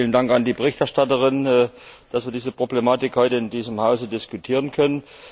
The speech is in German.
Vielen Dank an die Berichterstatterin, dass wir diese Problematik heute in diesem Haus diskutieren können.